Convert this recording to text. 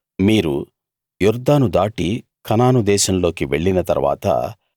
మీరు యొర్దాను దాటి కనాను దేశంలోకి వెళ్లిన తరవాత